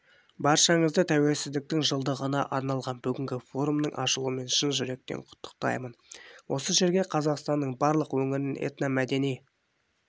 баршаңызды тәуелсіздіктің жылдығына арналған бүгінгі форумның ашылуымен шын жүректен құттықтаймын осы жерге қазақстанның барлық өңірінен этномәдени